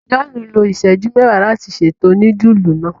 John lo iṣẹju mẹwàá láti ṣètò nudulu náa.